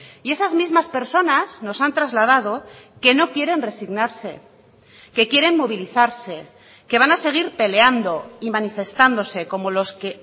y esas mismas personas nos han trasladado que no quieren resignarse que quieren movilizarse que van a seguir peleando y manifestándose como los que